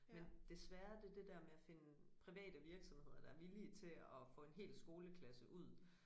Men svære det det der med at finde private virksomheder der er villige til at få en hel skoleklasse ud